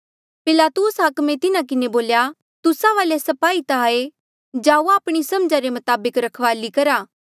पिलातुस हाकमे तिन्हा किन्हें बोल्या तुस्सा वाले स्पाही ता हाए जाउआ आपणी समझा रे मताबक रखवाली करा